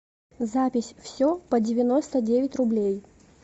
запись все по девяносто девять рублей